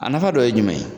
A nafa dɔ ye jumɛn ye